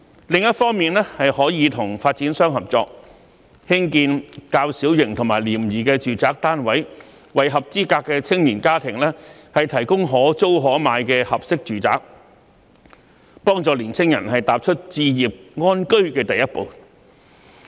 另一方面，可以與發展商合作，興建較小型及廉宜的住宅單位，為合資格的青年家庭提供可租可買的合適住宅，幫助青年人踏出置業安居的第一步。